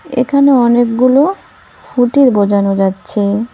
এখানে অনেকগুলো ফুটি বোজানো যাচ্ছে।